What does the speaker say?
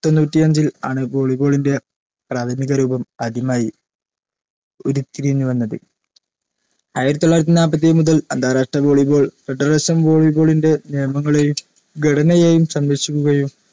തൊണ്ണൂറ്റിയഞ്ചിൽ ആണ് volley ball ന്റെ പ്രാഥമിക അറിവും ആദ്യമായി ഉരുത്തിരിഞ്ഞു ആയിരത്തി തൊള്ളായിരത്തി നാപ്പത്തേഴ് മുതൽ അന്താരാഷ്ട്ര volley ball federation volley ball ൻറെ നിയമങ്ങളെയും ഘടനയെയും സംരക്ഷിക്കുകയും